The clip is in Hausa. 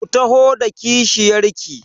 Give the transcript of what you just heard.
Ku taho da kishiyar ki!